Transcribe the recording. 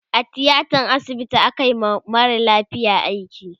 a tiatan asibiti akayi wa marasa lafiya aiki